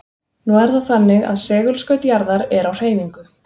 Nú er það þannig að segulskaut jarðar er á hreyfingu.